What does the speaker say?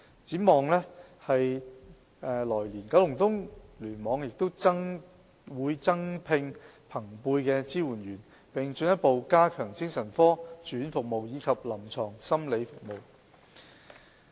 展望來年，九龍東聯網會增聘朋輩支援者，並進一步加強精神科住院服務及臨床心理服務。